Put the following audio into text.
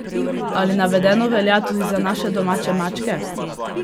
Ali navedeno velja tudi za naše domače mačke?